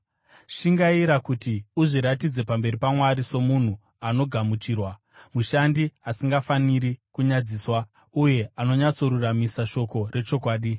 Shingaira kuti uzviratidze pamberi paMwari, somunhu anogamuchirwa, mushandi asingafaniri kunyadziswa uye anonyatsoruramisa shoko rechokwadi.